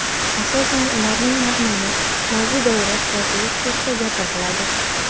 Asosan ularning mazmuni, mavzu doirasi torligi xususida gapiriladi.